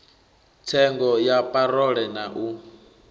tsengo ya parole na u